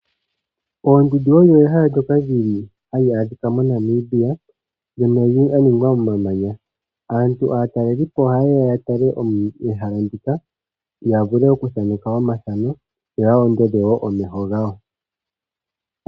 Oondundu olyo ehala ndyoka li li hali adhika moNamibia ndyono lya ningwa momamanya. Aantu aatalelipo ohaye ya ya tale ehala ndika ya vule okuthaneka omathano yo ya ondodhe wo omeho gawo.